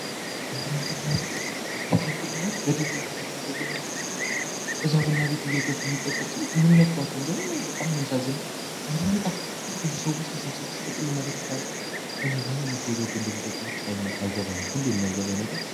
ኤፍሬም ቡና ቤት ኤፍሬም ቡና በዲላ ከተማ ያለ ቡና ቤት ነው። እዛ ቡና ቤት እየገቡ ይጠቀሙ ሰዎች መነሻቸው እንደሆነ እኔ በጣም ነው የሚያሳዝነኝ። በማይጣፍጥ ቡና ብቁ ሰዎች ተሰብስበው ሲጠጡ እንመለከታለን። እኔ ለምን እየገቡ እንደሚጠጡ ብቻ አይገባኝም። ሁሌም የማይገባኝ ነገር እሱ ነው።